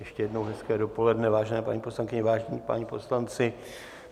Ještě jednou hezké odpoledne, vážené paní poslankyně, vážení páni poslanci.